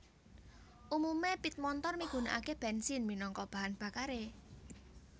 Umume pit montor migunakake bensin minangka bahan bakare